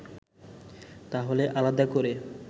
তাহলে আলাদা করে